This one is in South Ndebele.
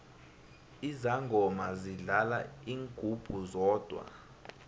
izangoma zidlala ingungu zodwa